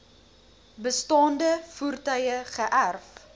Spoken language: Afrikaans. bestaande voertuie geërf